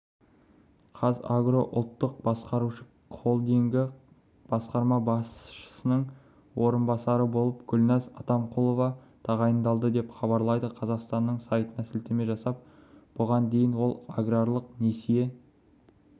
қазагро ұлттық басқарушы холдингі басқарма басшысының орынбасарыболып гүлнәз атамқұлова тағайындалды деп хабарлайды қазақстанның сайтына сілтеме жасап бұған дейін ол аграрлық несие